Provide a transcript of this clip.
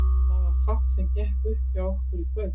Það var fátt sem gekk upp hjá okkur í kvöld.